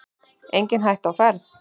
Engin hætta á ferð